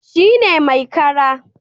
Shi ne mai kara